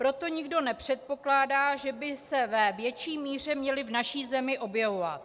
Proto nikdo nepředpokládá, že by se ve větší míře měly v naší zemi objevovat.